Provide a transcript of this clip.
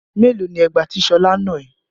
Mélòó ni ẹgba tí Ṣọlá nà ẹ́?